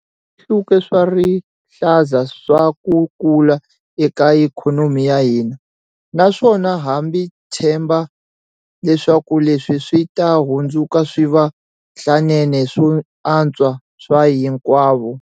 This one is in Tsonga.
Swihluke swa rihlaza swa ku kula eka ikhonomi ya hina, naswona ha tshemba leswaku leswi swi ta hundzuka swivandlanene swo antswa swa hinkwavo.